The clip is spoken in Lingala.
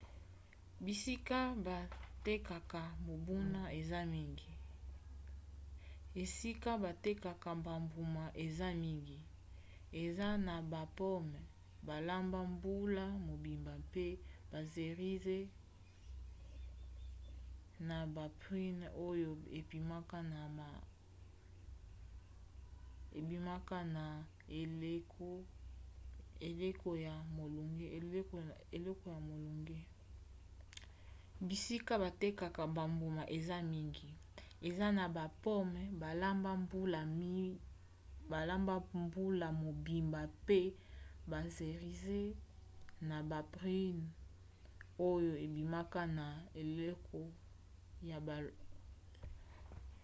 bisika batekaka bambuma eza mingi eza na bapome balamba mbula mobimba mpe baserize na baprunes oyo ebimaka na eleko ya molunge